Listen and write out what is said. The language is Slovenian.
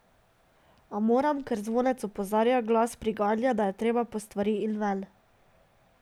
A moram, ker zvonec opozarja, glas priganja, da je treba po stvari in ven.